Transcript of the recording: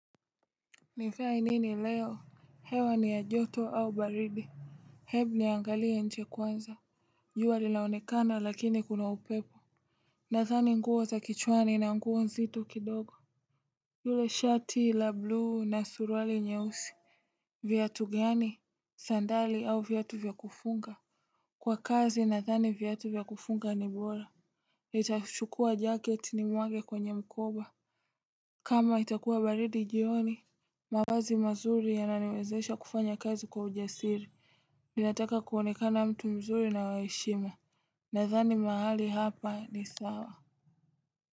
Nivae nini leo hewa ni ya joto au baridi Hebu niangalie nje kwanza jua linaonekana lakini kuna upepo Nathani nguo za kichwani na nguo nzito kidogo yule shati la blue na suruali nyeusi viatu gani sandali au viatu vyakufunga Kwa kazi nathani viatu vyakufunga ni bora nItachukua jacket ni mwage kwenye mkoba kama itakuwa baridi jioni mavazi mazuri yananiwezesha kufanya kazi kwa ujasiri Ninataka kuonekana mtu mzuri na wa heshima Nathani mahali hapa ni sawa.